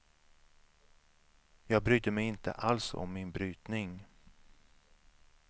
Jag brydde mig inte alls om min brytning.